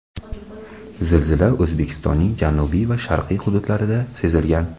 Zilzila O‘zbekistonning janubiy va sharqiy hududlarida sezilgan.